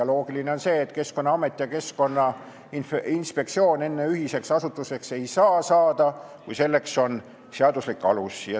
Loogiline on, et Keskkonnaamet ja Keskkonnainspektsioon ei saa enne ühiseks asutuseks saada, kui selleks on seaduslik alus.